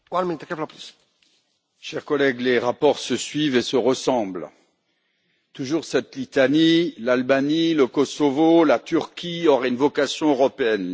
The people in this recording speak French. Monsieur le Président, chers collègues, les rapports se suivent et se ressemblent. Toujours cette litanie, l'Albanie, le Kosovo, la Turquie auraient une vocation européenne.